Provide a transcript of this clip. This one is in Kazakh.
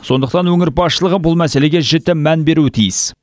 сондықтан өңір басшылығы бұл мәселеге жіті мән беруі тиіс